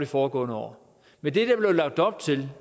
foregående år med det der blev lagt op til